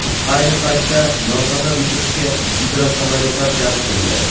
Ayni paytda yong‘inni o‘chirishga gidrosamolyotlar jalb qilindi.